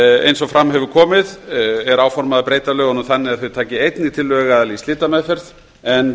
eins og fram hefur komið er áformað að breyta lögunum þannig að þau taki einnig til lögaðila í slitameðferð en